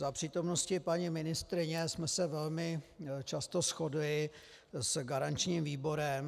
Za přítomnosti paní ministryně jsme se velmi často shodli s garančním výborem.